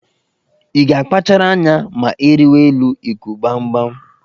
Ị ga-akpachara anya ma ị rịwa elu ịkụ gbamgbam